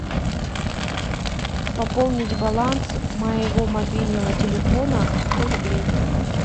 пополнить баланс моего мобильного телефона сто рублей